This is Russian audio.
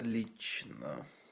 лично